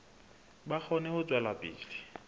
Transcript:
ba kgone ho tswela pele